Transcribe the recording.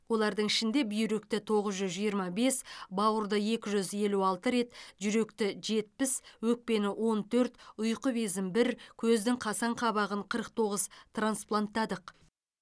олардың ішінде бүйректі тоғыз жүз жиырма бес бауырды екі жүз елу алты рет жүректі жетпіс өкпені он төрт ұйқы безін бір көздің қасаң қабығын қырық тоғыз транспланттадық